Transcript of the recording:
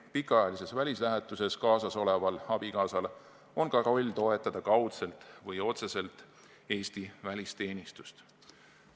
Pikaajalises välislähetuses kaasas oleval abikaasal on ka roll toetada kaudselt või otseselt Eesti välisteenistust.